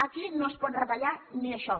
aquí no es pot retallar ni això